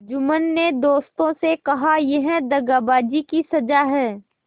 जुम्मन ने दोस्तों से कहायह दगाबाजी की सजा है